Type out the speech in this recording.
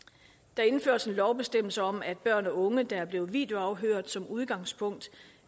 der indføres en lovbestemmelse om at børn og unge der er blevet videoafhørt som udgangspunkt